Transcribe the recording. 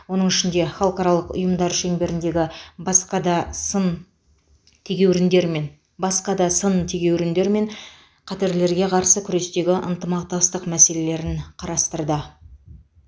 оның ішінде халықаралық ұйымдар шеңберіндегі басқа да сын тегеуріндер мен басқа да сын тегеуріндер мен қатерлерге қарсы күрестегі ынтымақтастық мәселелерін қарастырды